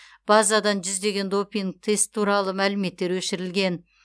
базадан жүздеген допинг тест туралы мәліметтер өшірілген